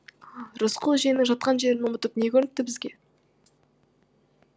рысқұл жиеннің жатқан жерін ұмытып не көрініпті бізге